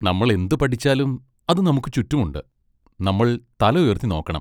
നമ്മൾ എന്ത് പഠിച്ചാലും അത് നമുക്ക് ചുറ്റും ഉണ്ട്, നമ്മൾ തല ഉയർത്തി നോക്കണം.